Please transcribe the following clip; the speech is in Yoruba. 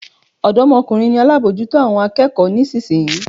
Odomokunrin ni alábòójútó àwọn akẹ́kọ̀ọ́ nísinsìnyí.